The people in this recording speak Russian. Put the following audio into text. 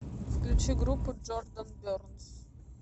включи группу джордан бернс